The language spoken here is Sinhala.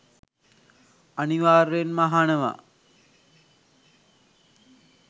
අනිවාර්යයෙන්ම අහනවා.